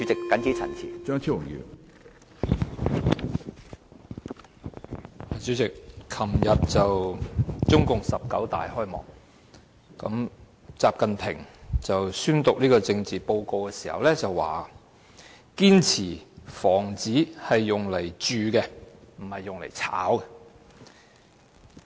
主席，昨天中國共產黨第十九次全國代表大會開幕，習近平宣讀政治報告時表示，"堅持房子是用來住的，不是用來炒的"。